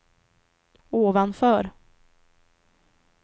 ovanför